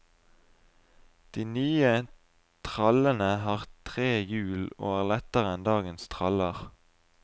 De nye trallene har tre hjul, og er lettere enn dagens traller.